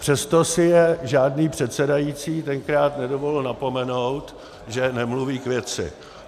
Přesto si je žádný předsedající tenkrát nedovolil napomenout, že nemluví k věci.